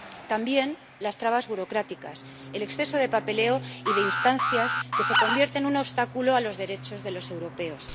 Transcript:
También las trabas burocráticas y el exceso de papeleo y de instancias que se convierten en un obstáculo a los derechos de los europeos.